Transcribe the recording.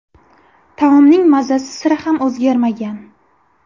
Taomning mazasi sira ham o‘zgarmagan.